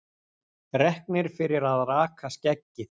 Reknir fyrir að raka skeggið